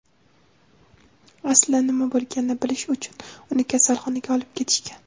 aslida nima bo‘lganini bilish uchun uni kasalxonaga olib ketishgan.